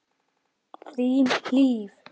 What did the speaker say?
Þín, Hlíf.